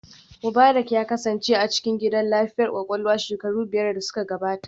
Mubarak ya kasance a cikin gidan lafiyar kwakwalwa shekaru biyar da suka gabata